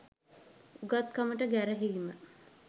උගත්කමට ගැරහීම